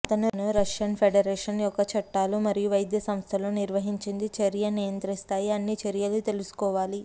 అతను Russian federation యొక్క చట్టాలు మరియు వైద్య సంస్థలు నిర్వహించింది చర్య నియంత్రిస్తాయి అన్ని చర్యలు తెలుసుకోవాలి